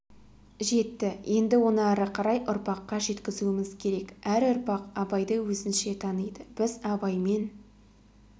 жетті енді оны ары қарай ұрпаққа жеткізуіміз керек әр ұрпақ абайды өзінше таниды біз абаймен